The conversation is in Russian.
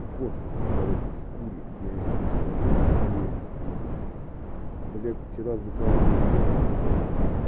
косточки короче в шкуре я её короче сварил и бульончик пью блядь вчера закалымел денег сука